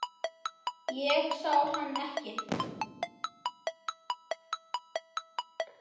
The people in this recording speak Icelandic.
Ég sá hann ekki.